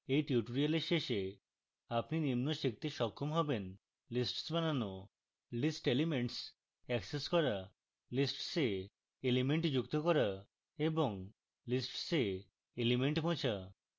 at tutorial শেষে আপনি নিম্ন শিখতে সক্ষম হবেন